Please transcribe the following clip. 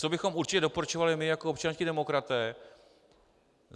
Co bychom určitě doporučovali my jako občanští demokraté?